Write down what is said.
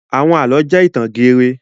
Àwọn àlọ́ jẹ́ ìtàn geere.